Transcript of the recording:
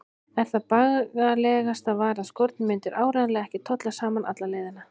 En það bagalegasta var að skórnir myndu áreiðanlega ekki tolla saman alla leiðina.